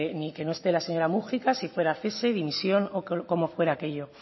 ni de que no esté la señora múgica si fuera cese dimisión o como fuera aquello